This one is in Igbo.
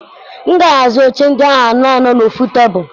M ga-ahazi oche ndị ahụ anọ anọ n'ofu tebụl.